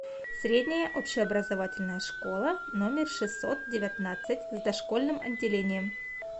средняя общеобразовательная школа номер шестьсот девятнадцать с дошкольным отделением